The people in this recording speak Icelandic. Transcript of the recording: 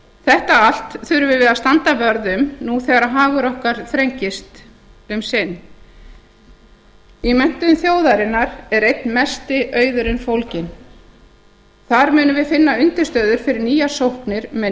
þetta allt þurfum við að standa vörð um nú þegar hagur okkar þrengist um sinn í menntun þjóðarinnar er einn mesti auðurinn fólginn þar munum við finna undirstöður fyrir nýjar sóknir með